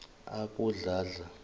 abodladla